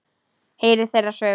Heyra þeirra sögur.